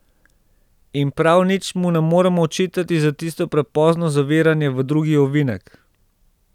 In prav nič mu ne moremo očitati za tisto prepozno zaviranje v drugi ovinek.